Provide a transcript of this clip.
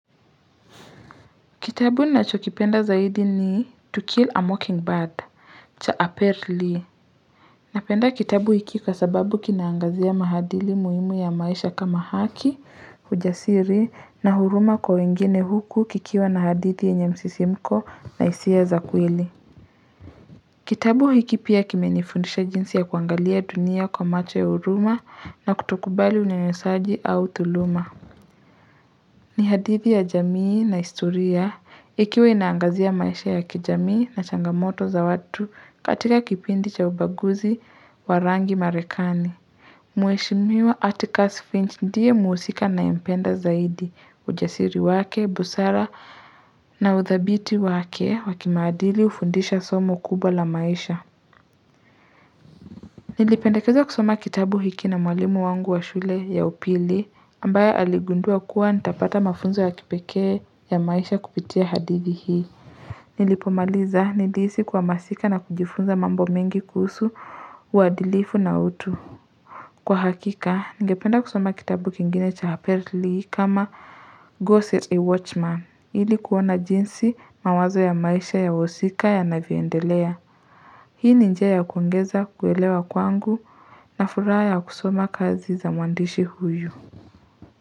Kitabu nachokipenda zaidi ni to Kill a Mockingbird, cha Aperly. Napenda kitabu hiki kwa sababu kinaangazia maadiri muhimu ya maisha kama haki, ujasiri na huruma kwa wengine huku kikiwa na hadithi yenye msisimko na hisia za kweli. Kitabu hiki pia kimenifundisha jinsi ya kuangalia dunia kwa macho ya huruma na kutokubali unyanysaji au tuluma. Ni hadithi ya jamii na historia, ikiwa inangazia maisha ya kijamii na changamoto za watu katika kipindi cha ubaguzi wa rangi marekani. Mweshimiwa Atikas Finch ndiye muhusika nayempenda zaidi, ujasiri wake, busara na uthabiti wake wa kimaadili ufundisha somo kubwa la maisha. Nilipendekeza kusoma kitabu hiki na mwalimu wangu wa shule ya upili ambaya aligundua kuwa nitapata mafunzo ya kipeke ya maisha kupitia hadithi hii. Nilipomaliza nilihisi kuhamasika na kujifunza mambo mengi kusu uadilifu na utu. Kwa hakika, ningependa kusoma kitabu kingine cha haperli kama Ghosts a Watchman ili kuona jinsi mawazo ya maisha ya wahusika yanavyoendelea. Hii ni njia ya kuongeza kuwelewa kwangu na furaha ya kusoma kazi za muandishi huyu.